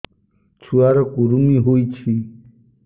ଛୁଆ ର କୁରୁମି ହୋଇଛି